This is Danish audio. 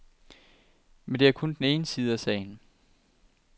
Men det er kun den ene side af sagen.